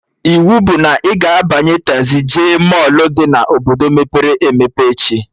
Iwu bụ na ị ga-abanye tazii jee mọlụ dị na Obodo mepere emepe echi!